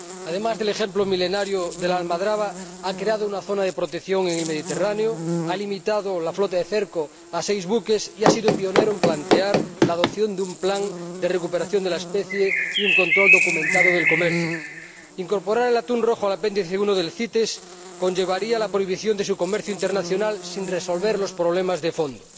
Además del ejemplo milenario de la almadraba, ha creado una zona de protección en el Mediterráneo, ha limitado la flota de cerco a seis buques y ha sido pionero en plantear la adopción de un plan de recuperación de la especie y un control documentado del comercio. Incorporar el atún rojo al Apéndice 1 de la CITES conllevaría la prohibición de su comercio internacional sin resolver los problemas de fondo